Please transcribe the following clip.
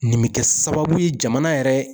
Nin bɛ kɛ sababu ye jamana yɛrɛ